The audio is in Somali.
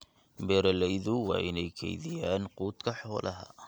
Beeralayda waa inay kaydiyaan quudka xoolaha.